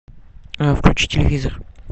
включи телевизор